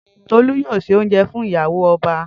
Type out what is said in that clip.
Tolú yóò ṣe óuńjẹ fún ìyàwó ọba